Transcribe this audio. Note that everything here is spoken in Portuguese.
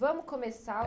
Vamo começar.